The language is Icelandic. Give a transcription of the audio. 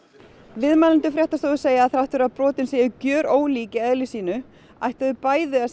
viðmælendur fréttastofu segja að þrátt fyrir að brotin séu gjörólík í eðli sínu ættu þau bæði að